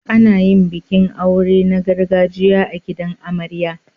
Ana yin bikin aure na gargajiya a gidan amarya.